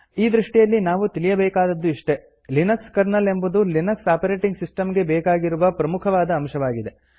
ಈ ದೃಷ್ಟಿಯಲ್ಲಿ ನಾವು ತಿಳಿಯಬೇಕಾದದ್ದು ಇಷ್ಟೇ ಲಿನಕ್ಸ್ ಕರ್ನಲ್ ಎಂಬುದು ಲಿನಕ್ಸ್ ಆಪರೇಟಿಂಗ್ ಸಿಸ್ಟಂ ಗೆ ಬೇಕಾಗಿರುವ ಪ್ರಮುಖವಾದ ಅಂಶವಾಗಿದೆ